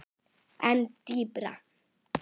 En dýpra?